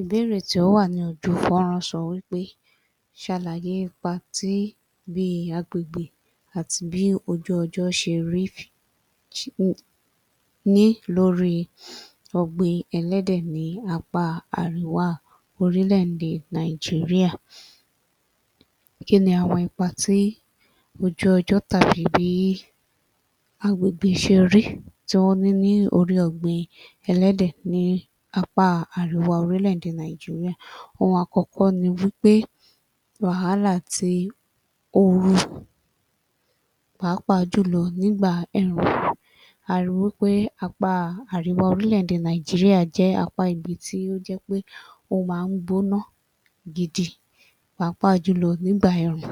Ìbéèrè tí ó wà ni ojú fọ́nrán sọ wí pé ṣàlàyé ipa tí bí agbègbè àti bí ojú ọjọ́ ṣe rí ní lórí ọ̀gbìn ẹlẹ́dẹ̀ ní apá àríwá orílẹ̀-èdè Nàìjíríà. Kí ni àwọn ipa tí ojú ọjọ́ tàbí bí agbègbè ṣe rí tí wọ́n ní lórí ọ̀gbìn ẹlẹ́dẹ̀ ní apá àríwá orílẹ̀-èdè Nàìjíríà? Ohun àkọ́kọ́ ni wí pé wàhálà ti ooru pàápàá jùlọ nígbà ẹ̀rùn. A ri wí pé apá àríwá orílẹ̀-èdè Nàìjíríà jẹ́ apá ibi tí ó jẹ́ pé ó máa ń gbóná gidi pàápàá jùlọ nígbà ẹ̀rùn.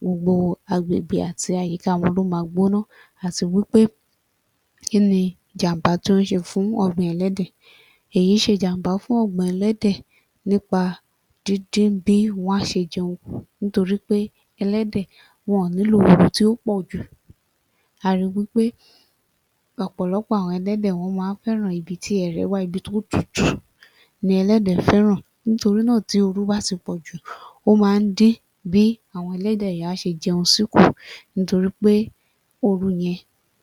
Gbogbo agbègbè àti àyíká wọn ló ma gbóná, àti wí pé kí ni jàm̀bá tó ń ṣe fún ọ̀gbìn ẹlẹ́dẹ̀? Èyí ń ṣe jàm̀bá fún ọ̀gbìn ẹlẹ́dẹ̀ nípa dídín bí wọ́n á ṣe jẹun kù nítorí pé ẹlẹ́dẹ̀ wọn ò nílò ooru tí ó pọ̀ jù. A ri wí pé ọ̀pọ̀lọ́pọ̀ àwọn ẹlẹ́dẹ̀ wọ́n máa ń fẹ́ràn ibi tí ẹrẹ̀ wà, ibi tí ó tutù ni ẹlẹ́dẹ̀ fẹ́ràn nítorí náà tí ooru bá ti pọ̀ jù ó máa ń dín bí àwọn ẹlẹ́dẹ̀ yẹn á ṣe jẹun sí kù nítorí pé ooru yẹn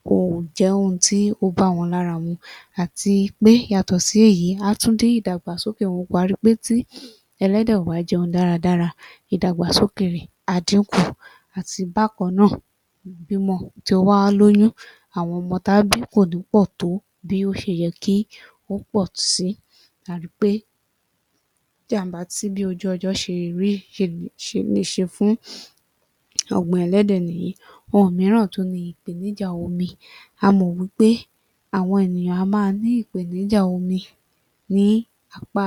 kò jẹ́ ohun tí ó bá wọn lára mu. Àti pé yàtọ̀ sí èyí, á tún dín ìdàgbàsókè wọn kù. A ri pé tí ẹlẹ́dẹ̀ ò bá jẹun dáradára, ìdàgbàsókè rẹ̀ á dínkù. Àti bákan náà ìbímọ. Tí ó bá lóyún, àwọn ọmọ tí á bí kò ní pọ̀ tó bí ó ṣe yẹ kí ó pọ̀ sí. A ri pé jàm̀bá ti bí ojú ọjọ́ ṣe rí [ṣe] lè ṣe fún ọ̀gbìn ẹlẹ́dẹ̀ nìyí. Ohun mìíràn tún ni ìpèníjà omi. A mọ̀ wí pé àwọn ènìyàn á máa ní ìpèníjà omi ní apá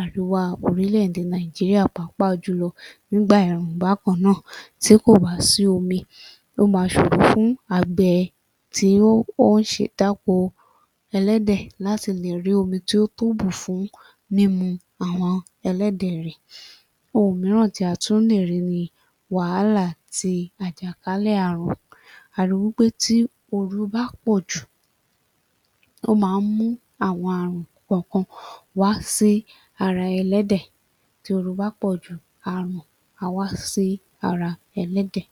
àríwá orílẹ̀-èdè Nàìjíríà pàápàá jùlọ nígbà ẹ̀rùn bákan náà. Tí kò bá sí omi, ó máa ṣòro fún àgbẹ̀ tí ó ń [ṣe] dáko ẹlẹ́dẹ̀ láti lè rí omi tí ó tó bù fún mímu àwọn ẹlẹ́dẹ̀ rẹ̀. Ohun mìíràn tí a tún lè rí ni wàhálà ti àjàkálẹ̀ àrùn. A ri wí pé tí ooru bá pọ̀ jù, ó máa ń mú àwọn àrùn kọ̀ọ̀kan wá sí ara ẹlẹ́dẹ̀. Tí ooru bá pọ̀ jù, àrùn á wá sí ara ẹlẹ́dẹ̀.